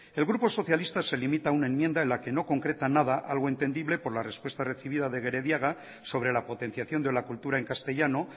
el grupo socialista se limita a una enmienda en la que no concreta nada algo entendible por la respuesta recibida de gerediaga sobre la potenciación de la cultura en castellano